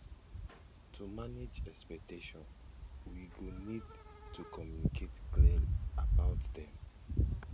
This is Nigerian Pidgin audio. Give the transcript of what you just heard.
to manage expectations we go need to communicate clearly about them